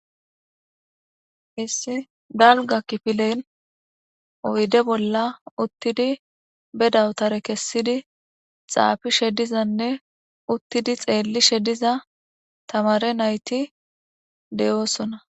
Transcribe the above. issi dalga kifilen oyde bolla uttidi bedawutare kessidi xaafi shedizanne uttidi xeelli shediza tamare nayti de7oosona